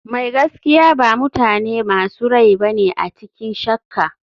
Mai gaskiya ba mutane masu rai bane a cikin shakka.